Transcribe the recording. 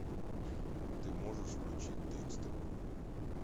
ты можешь включить декстер